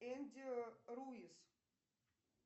энди руис